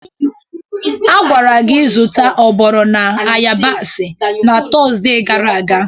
A gwara gi zụta oporo na ayabasị na Tọzde gara aga!